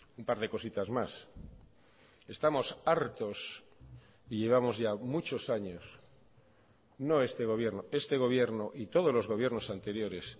un par de cositas más estamos hartos y llevamos ya muchos años no este gobierno este gobierno y todos los gobiernos anteriores